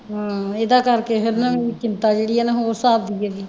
ਹਾਂ ਇਹਦਾ ਕਰਕੇ ਹੈ ਨਾ ਚਿੰਤਾ ਜਿਹੜੀ ਹੈ ਉਸ ਹਿਸਾਬ ਦੀ ਜਿਹੜੀ